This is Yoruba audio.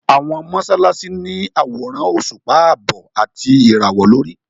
Àwọn mọ́sálásí ní àwòrán òṣùpá àbọ̀ àti ìràwọ̀ lórí.